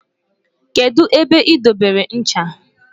kedu ebe i dobere ncha?